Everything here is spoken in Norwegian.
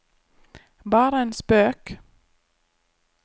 bare en spøk